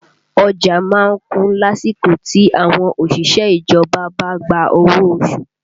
Ọjà má ń kún lásìkò tí àwọn òṣìṣẹ́ ìjọba bá gba owó oṣù